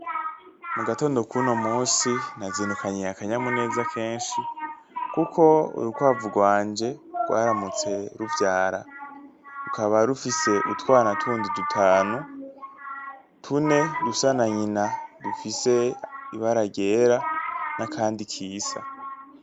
Mugatondo kuno munsi nazindukanye akanyamuneza kenshi kuko urukwavu rwanje rwaramutse ruvyara, rukaba rufise utwana tundi dutanu, tune dusa na nyina dufise ibara ryera n'akandi kisa.